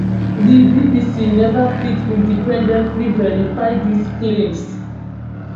di bbc neva fit independently verify dis claims